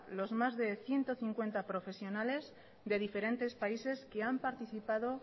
los más de ciento cincuenta profesionales de diferentes países que han participado